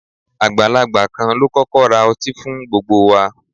Agbalagba kan lo kọkọ ra ọti fun gbogbo wa